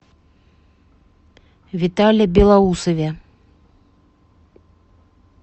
витале белоусове